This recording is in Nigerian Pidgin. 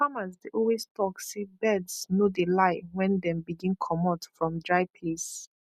farmers dey always talk say birds no dey lie when dem begin comot from dry place